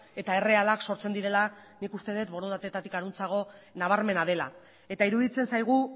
eta errealak sortzen direla nik uste dut borondatetik harantzago nabarmena dela eta iruditzen zaigu